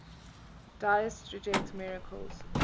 deists rejected miracles